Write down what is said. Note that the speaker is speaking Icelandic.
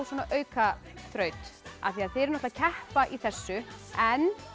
aukaþraut af því þið eruð að keppa í þessu en